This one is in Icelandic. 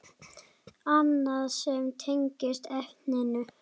Annað sem tengist efninu